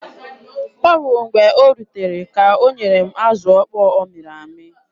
Ọ bụ mgbe o rutere ka o nyere m azụ okpo ọ mịrị amị.